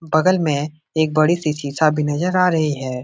बगल में एक बड़ी सी शीशा भी नजर आ रही है।